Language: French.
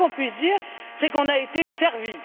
Le moins que l'on puisse dire, c'est qu'on a été servi.